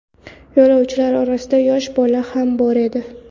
Yo‘lovchilar orasida yosh bola ham bor edi.